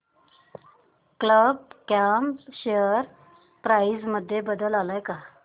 कल्प com share price मध्ये बदल आलाय का